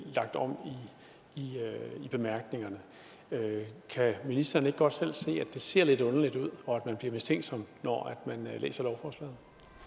om i bemærkningerne kan ministeren ikke godt selv se at det ser lidt underligt ud og at man bliver mistænksom når man læser lovforslaget